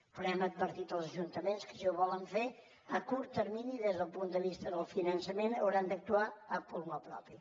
però hem advertit els ajuntaments que si ho volen fer a curt termini des del punt de vista del finançament hauran d’actuar a pulmó propi